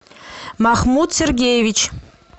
махмуд сергеевич